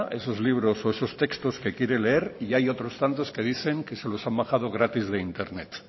esos libros o esos textos que quiere leer y hay otros tantos que dicen que se los han bajado gratis de internet